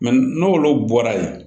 n'olu bɔra yen